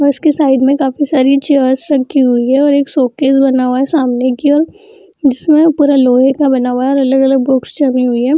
और उसके साइड में काफी सारी चेयर्स रखी हुई है और एक शोकेस बना हुआ है सामने की ओर जिसमें पूरा लोहे का बना हुआ है और अलग-अलग बुक्स छुपी हुई है।